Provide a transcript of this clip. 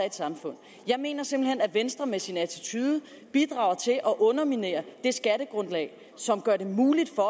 et samfund jeg mener simpelt hen at venstre med sin attitude bidrager til at underminere det skattegrundlag som gør det muligt for